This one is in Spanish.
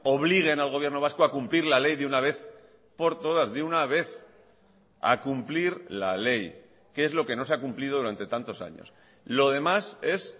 obliguen al gobierno vasco a cumplir la ley de una vez por todas de una vez a cumplir la ley que es lo que no se ha cumplido durante tantos años lo demás es